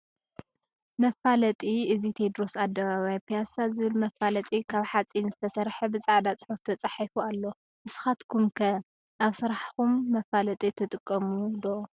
መፋለጢ፦ እዚ ቴድሮስ ኣደባባይ ፒያሳ ዝብል መፋለጢ ካብ ሓፂን ዝተሰርሐ ብፃዕዳ ፅሑፍ ተፃሒፉ ኣሎ። ንስካትኹም ከ ኣብ ስራሕኹም መፋለጢ ትጥቀሙ ዶ ?